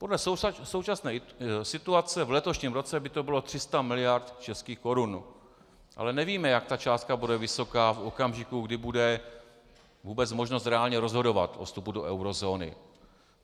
Podle současné situace v letošním roce by to bylo 300 mld. českých korun, ale nevíme, jak ta částka bude vysoká v okamžiku, kdy bude vůbec možnost reálně rozhodovat o vstupu do eurozóny.